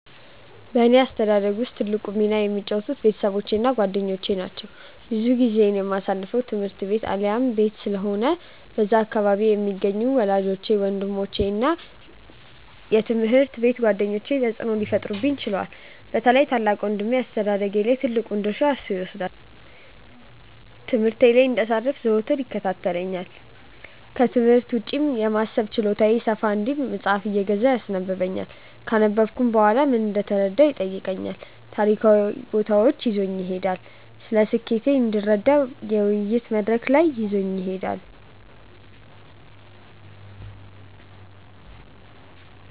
በእኔ አስተዳደግ ውስጥ ትልቁን ሚና የተጫወቱት ቤተሰቦቼ እና ጓደኞቼ ናቸው። ብዙ ጊዜዬን የማሳልፈው ትምህርት ቤት አሊያም ቤት ስለሆነ በዛ አካባቢ የሚገኙት ወላጆቼ፤ ወንድሞቼ እና የትምሀርት ቤት ጓደኞቼ ተጽእኖ ሊፈጥሩብኝ ችለዋል። በተለይም ታላቅ ወንድሜ አስተዳደጌ ላይ ትልቁን ድርሻ እርሱ ይወስዳል። ትምህርቴ ላይ እንዳልሰንፍ ዘወትር ይከታተለኛል፤ ክትምህርት ውጪ የማሰብ ችሎታዬ ሰፋ እንዲል መጽሃፍ እየገዛ ያስነበብኛል፤ ካነበብኩም በኋላ ምን እንደተረዳሁ ይጠይቀኛል፤ ታሪካዊ ቦታዎች ይዞኝ ይሄዳል፤ ስለሴትነቴ እንድረዳ የውይይት መድረክ ላይ ይዞኝ ይሄዳል።